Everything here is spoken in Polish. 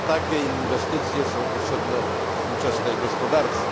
Właśnie takie inwestycje są potrzebne współczesnej gospodarce.